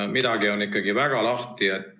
Midagi on ikkagi väga lahti.